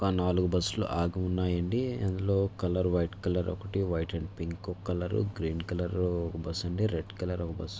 ఒక నాలుగు బస్సు లు ఆగి ఉన్నాయండి అందులో కలర్ వైట్ కలర్ ఒకటి వైట్ అండ్ పింక్ ఒక్క కలర్ రు గ్రీన్ కలర్ ఒక్క బస్సు అండి రెడ్ కలర్ ఒక బస్ .